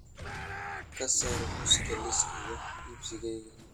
ka saar muuska liiska wax iibsigayga